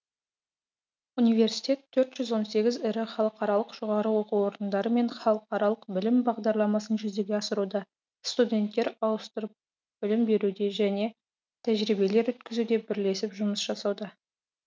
университет төрт жүз он сегіз ірі халықаралық жоғары оқу орындарымен халықаралық білім бағдарламасын жүзеге асыруда студенттер ауыстырып білім беруде және тәжірибелер өткізуде бірлесіп жұмыс жасауда